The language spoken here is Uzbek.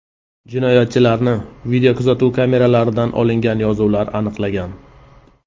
Jinoyatchilarni videokuzatuv kameralaridan olingan yozuvlar aniqlagan.